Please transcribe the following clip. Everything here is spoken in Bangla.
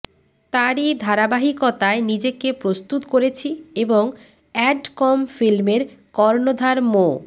তারই ধারাবাহিকতায় নিজেকে প্রস্তুত করেছি এবং এ্যাডকম ফিল্মের কর্ণধার মো